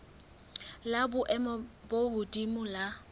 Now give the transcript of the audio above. la boemo bo hodimo la